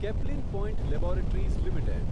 Caplin Point Laboratories limited